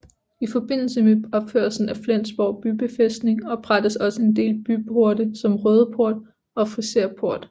I forbindelse med opførelsen af Flensborg bybefæstning oprettedes også en del byporte som Røde Port og Friserport